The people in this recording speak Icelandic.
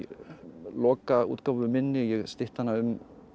lokaútgáfu minni ég stytti hana um